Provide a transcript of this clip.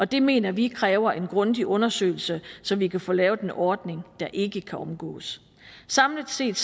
det mener vi kræver en grundig undersøgelse så vi kan få lavet en ordning der ikke kan omgås samlet set